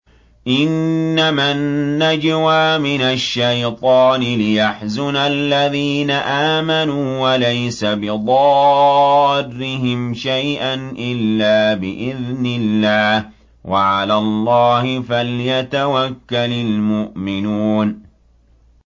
إِنَّمَا النَّجْوَىٰ مِنَ الشَّيْطَانِ لِيَحْزُنَ الَّذِينَ آمَنُوا وَلَيْسَ بِضَارِّهِمْ شَيْئًا إِلَّا بِإِذْنِ اللَّهِ ۚ وَعَلَى اللَّهِ فَلْيَتَوَكَّلِ الْمُؤْمِنُونَ